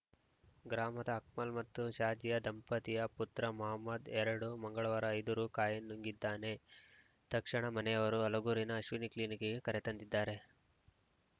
ಗ್ರಾಮದ ಅಕ್ಮಲ್‌ ಮತ್ತು ಶಾಜಿಯ ದಂಪತಿಯ ಪುತ್ರ ಮಹಮ್ಮದ್‌ಎರಡು ಮಂಗಳವಾರ ಐದು ರು ಕಾಯಿನ್‌ ನುಂಗಿದ್ದಾನೆ ತಕ್ಷಣ ಮನೆಯವರು ಹಲಗೂರಿನ ಅಶ್ವಿನಿ ಕ್ಲಿನಿಕ್‌ಗೆ ಕರೆತಂದಿದ್ದಾರೆ